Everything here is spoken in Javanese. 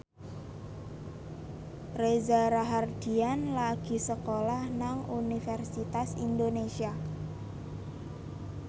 Reza Rahardian lagi sekolah nang Universitas Indonesia